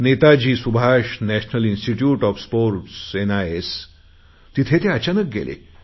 Netaji Subhash national institute of sports NIS तिथे ते अचानक गेले